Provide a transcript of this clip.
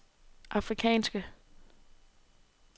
afrikanske